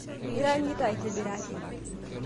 Iranyita aitibiraki